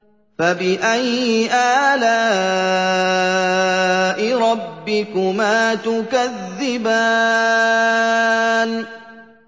فَبِأَيِّ آلَاءِ رَبِّكُمَا تُكَذِّبَانِ